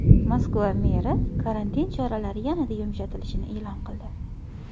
Moskva meri karantin choralari yanada yumshatilishini e’lon qildi.